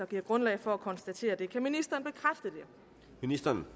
giver grundlag for at konstatere det kan ministeren